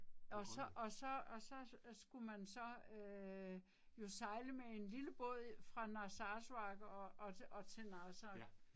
Og så og så og så skulle man så øh jo sejle med en lille båd fra Narsarsuaq og og og til Narsaq